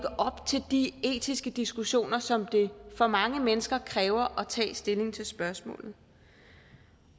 op til de etiske diskussioner som det for mange mennesker kræver at tage stilling til spørgsmålet